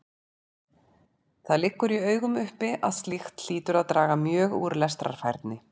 Það liggur í augum uppi að slíkt hlýtur að draga mjög úr lestrarfærni.